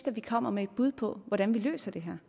at vi kommer med et bud på hvordan vi løser det her